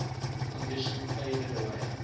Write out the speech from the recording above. conditioning faded away